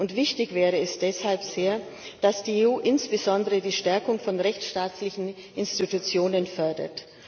Sehr wichtig wäre es deshalb, dass die EU insbesondere die Stärkung von rechtsstaatlichen Institutionen fördert.